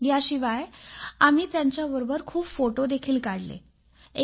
याशिवाय आम्ही त्यांच्याबरोबर खूप फोटो काढून घेतले